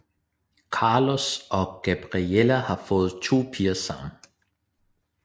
Carlos og Gabriella har fået 2 piger sammen